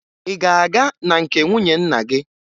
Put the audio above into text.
Ị ga-aga na nke nwunye nna gị?